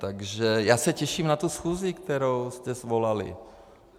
Takže já se těším na tu schůzi, kterou jste svolali.